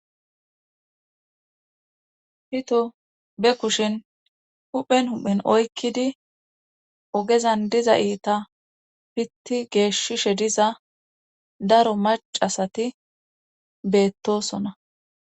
hito be kushin huphen hu7en oykkidi ogezan diza iita pitti geeshshishe diza daro macasati beettosona